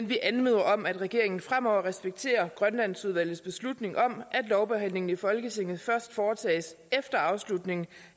vi anmoder om at regeringen fremover respekterer grønlandsudvalgets beslutning om at lovbehandlingen i folketinget først foretages efter afslutningen